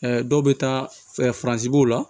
dɔw bɛ taa la